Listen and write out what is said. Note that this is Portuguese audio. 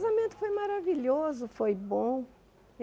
Casamento foi maravilhoso, foi bom.